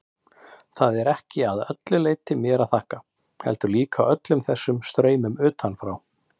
Það er ekki að öllu leyti mér að þakka, heldur líka öllum þessum straumum utanfrá.